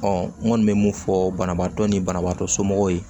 n kɔni bɛ mun fɔ banabaatɔ ni banabaatɔ somɔgɔw ye